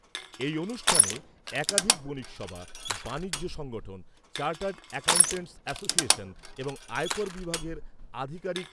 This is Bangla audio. এই অনুষ্ঠানে একাধিক বণিকসভা, বাণিজ্য সংগঠন, চার্টার্ড অ্যাকাউট্যান্টস অ্যাসোসিয়েশন এবং আয়কর বিভাগের আধিকারিক